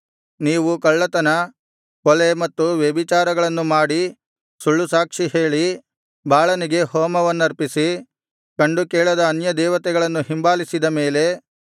ನೀವು ಕಳ್ಳತನ ಕೊಲೆ ಮತ್ತು ವ್ಯಭಿಚಾರಗಳನ್ನು ಮಾಡಿ ಸುಳ್ಳುಸಾಕ್ಷಿ ಹೇಳಿ ಬಾಳನಿಗೆ ಹೋಮವನ್ನರ್ಪಿಸಿ ಕಂಡುಕೇಳದ ಅನ್ಯದೇವತೆಗಳನ್ನು ಹಿಂಬಾಲಿಸಿದ ಮೇಲೆ